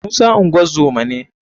musa ngozoma ne.